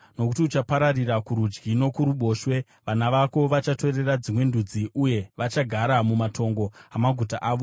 Nokuti uchapararira kurudyi nokuruboshwe; vana vako vachatorera dzimwe ndudzi uye vachagara mumatongo amaguta avo.